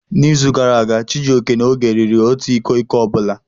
N'izu gara aga, Chijioke na Oge riri otu iko iko ọ bụla.